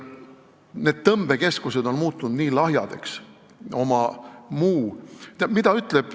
Need tõmbekeskused on muutunud nii lahjadeks.